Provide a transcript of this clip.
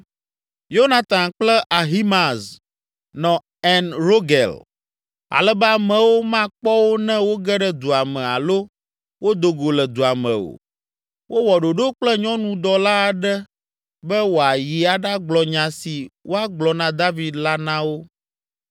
Yonatan kple Ahimaaz nɔ En Rogel ale be amewo makpɔ wo ne woge ɖe dua me alo wodo go le dua me o. Wowɔ ɖoɖo kple nyɔnudɔla aɖe be wòayi aɖagblɔ nya si woagblɔ na David la na wo.